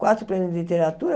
Quatro prêmios em literatura.